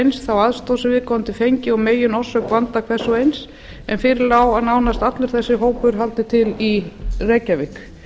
eins þá aðstoð sem viðkomandi og meginorsök vanda hvers og eins en fyrir lá að nánast allur þessi hópur haldi til í reykjavík